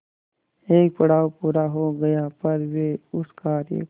एक पड़ाव पूरा हो गया पर वे उस कार्य को